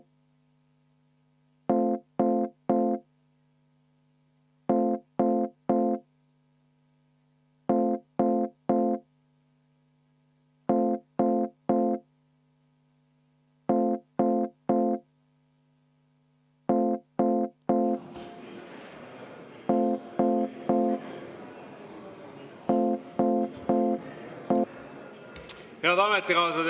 Head ametikaaslased!